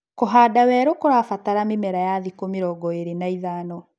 Kũhanda werũ kũrabatala mĩmera ya thikũ mĩrongo ĩlĩ na ĩtano